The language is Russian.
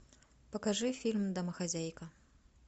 покажи фильм домохозяйка